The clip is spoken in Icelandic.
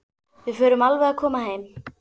Við förum alveg að koma heim.